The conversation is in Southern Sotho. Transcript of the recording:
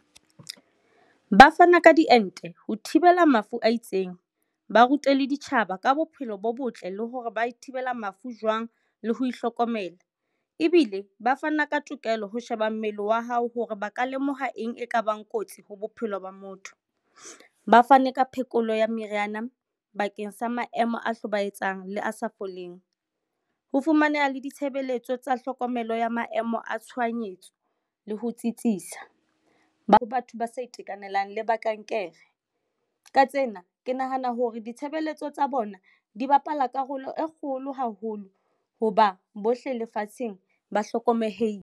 Ba fana ka diente ho thibela mafu a itseng. Ba rute le ditjhaba ka bophelo bo botle le hore ba e thibela mafu jwang le ho hlokomela. Ebile ba fana ka tokelo ho sheba mmele wa hao hore ba ka lemoha eng e kabang kotsi ho bophelo ba motho. Ba fane ka phekolo ya meriana bakeng sa maemo a hlobaetsang, le a sa foleng. Ho fumaneha le ditshebeletso tsa tlhokomelo ya maemo a tshohanyetso le ho tsitsisa. Batho ba sa itekanelang le ba kankere. Ka tsena, ke nahana hore ditshebeletso tsa bona di bapala karolo e kgolo haholo, ho ba bohle lefatsheng ba hlokomelehile.